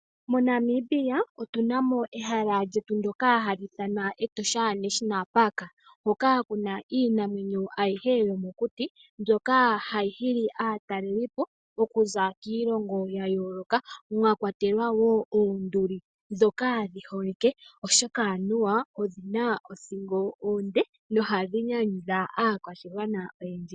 MoNamibia otunamo ehala lyetu ndjoka hali ithanwa Etosha national park hoka kuna iinamwenyo ayihe yomokuti mbyoka hayi hili aatalelipo okuza kiilongo ya yooloka. Mwakwatelwa woo oonduli ndhoka dhi holike, oshoka anuwa odhina othingo onde nohadhi nyanyudha aakwashigwana oyendji.